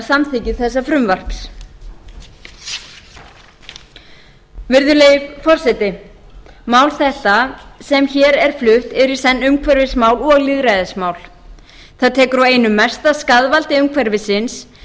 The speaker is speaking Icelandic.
samþykki þessa frumvarp virðulegi forseti mál þetta sem hér er flutt er í senn umhverfismál og lýðræðismál það tekur á einum mesta skaðvaldi umhverfisins